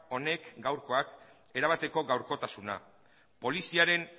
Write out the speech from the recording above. honek gaurkoak erabateko gaurkotasuna poliziaren